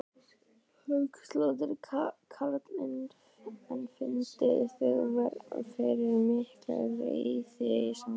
Höskuldur Kári: En finnið þið fyrir mikilli reiði í samfélaginu?